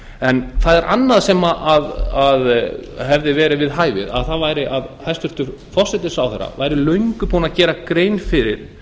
en það er annað sem hefði meira við hæfi það væri að hæstvirtur forsætisráðherra væri löngu búinn að gera grein fyrir